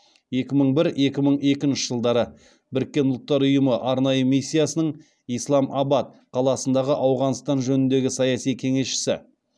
екі мың бір екі мың екінші жылдары біріккен ұлттар ұйымы арнайы миссиясының исламабад қаласындағы ауғанстан жөніндегі саяси кеңесшісі